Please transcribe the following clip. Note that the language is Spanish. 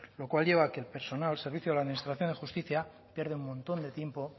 lo cual lleva a que el personal al servicio de la administración de justicia pierde un montón de tiempo